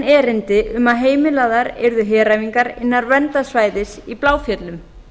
erindi um að heimilaðar yrðu heræfingar innan verndarsvæðis í bláfjöllum